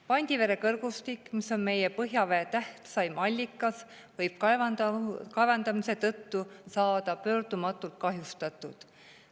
Pandivere kõrgustik, mis on meie põhjavee tähtsaim allikas, võib kaevandamise tõttu saada pöördumatult kahjustatud.